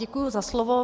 Děkuji za slovo.